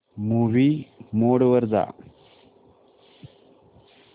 movie mode वर जा